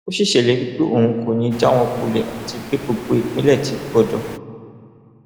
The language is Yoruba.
ó sì ṣèlérí pé òun kò ní í já wọn kulẹ àti pé gbogbo ìpínlẹ ti gbòdo